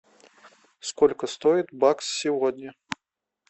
сколько стоит бакс сегодня